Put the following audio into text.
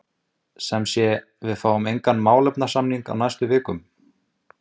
Sigmundur Ernir Rúnarsson: Sem sé, við fáum engan málefnasamning á næstu vikum?